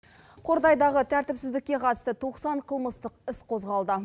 қордайдағы тәртіпсіздікке қатысты тоқсан қылмыстық іс қозғалды